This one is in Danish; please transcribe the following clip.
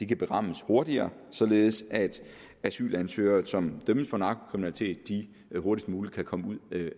kan berammes hurtigere således at asylansøgere som dømmes for narkokriminalitet hurtigst muligt kan komme ud